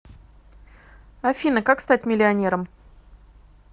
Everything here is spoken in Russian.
афина как стать миллионером